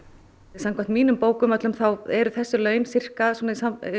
samkvæmt mínum bókum eru þessi laun sirka í